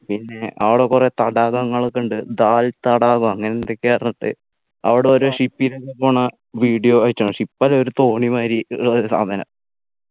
പിന്നെ അവിടെ കുറെ തടാകങ്ങൾ ഒക്കെ ഇണ്ട് ദാൽ തടാകം അങ്ങനെ എന്തൊക്കെയോ പറഞ്ഞിട്ട് അവിടെ ഒരു Ship ലല്ലു പോണ video അയച്ചന്നു Ship അല്ല ഒരു തോണി മാതിരി ഉള്ളൊരു സാധനം